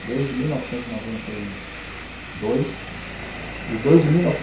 desde mil novecentos e noventa e dois, e desde mil